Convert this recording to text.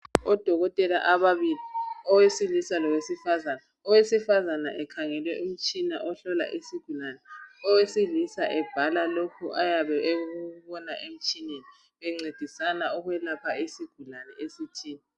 Odokotela ababili, owesilisa lowesifazane. Owesifazane ekhangele umtshina ohlola isigulane, owesilisa ebhala lokhu ayabe ekubona emtshineni bencedisana ukwelapha isigulane esithile.